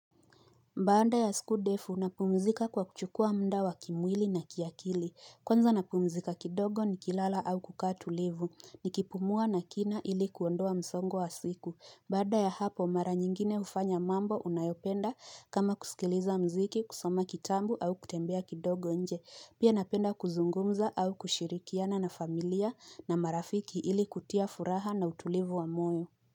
Baanda ya sikudefu napumzika kwa kuchukua mda wa kimwili na kiakili. Kwanza napumzika kidogo ni kilala au kukatulivu. Ni kipumua na kina ili kuondoa msongo wa siku. Mbanda ya hapo mara nyingine ufanya mambo unayopenda kama kusikiliza mziki kusoma kitambu au kutembea kidogo nje. Pia napenda kuzungumza au kushirikiana na familia na marafiki ili kutia furaha na utulivu wa moyo.